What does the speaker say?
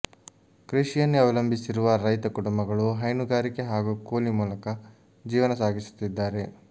ಕೃಷಿಯನ್ನೇ ಅವಲಂಬಿಸಿ ರುವ ರೈತ ಕುಟುಂಬಗಳು ಹೈನುಗಾರಿಕೆ ಹಾಗೂ ಕೂಲಿ ಮೂಲಕ ಜೀವನ ಸಾಗಿ ಸುತ್ತಿದ್ದಾರೆ